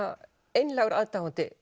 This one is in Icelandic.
einlægur aðdáandi